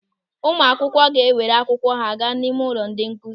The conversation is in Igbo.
Ụmụ akwụkwọ ga-ewere akwụkwọ ha gaa n'ime ụlọ ndị nkụzi.